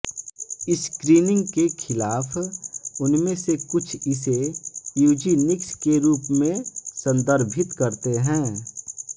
screening के खिलाफ उनमें से कुछ इसे यूजीनिक्स के रूप में संदर्भित करते हैं